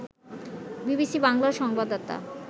BBC বাংলার সংবাদদাতা